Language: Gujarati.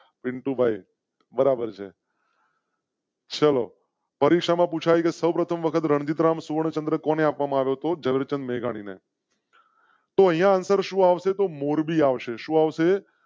પિન્ટુ ભાઈ બરાબર છે. ચલો પરીક્ષા માં પૂછા સૌ પ્રથમ વખત રણજિત રામ સુવર્ણચંદ્રક ઓને આપવા મારો તો જરૂર ચંદ મેઘાણી ને. તોય answer શું આવશે તો મોરબી આવશે. શું આવશે?